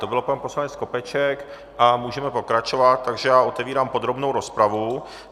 To byl pan poslanec Skopeček a můžeme pokračovat, takže já otevírám podrobnou rozpravu.